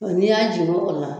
N'i y'a jigin o kɔni la